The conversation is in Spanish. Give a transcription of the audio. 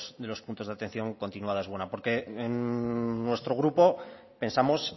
de los puntos de atención continuada es buena porque en nuestro grupo pensamos